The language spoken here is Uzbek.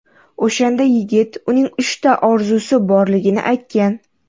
O‘shanda yigit uning uchta orzusi borligini aytgan.